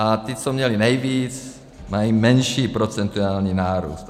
A ti, co měli nejvíc, mají menší procentuální nárůst.